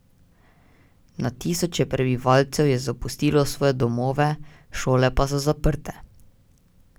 Na tisoče prebivalcev je zapustilo svoje domove, šole pa so zaprte.